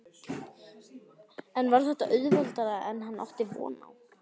En var þetta auðveldara en hann átti von á?